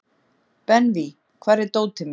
Benvý, hvar er dótið mitt?